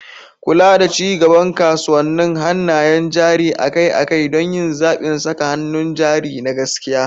Kula da ci gaban kasuwannin hannayen jari akai-akai don yin zaɓin saka hannun jari na gaskiya.